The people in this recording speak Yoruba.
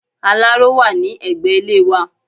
Aláró wà ní ẹgbẹ́ ilé wà